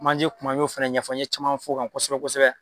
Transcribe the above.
Manje kuma n y'o fɛnɛ ɲɛfɔ, n ye caman f'o kan kosɛbɛ-kosɛbɛ.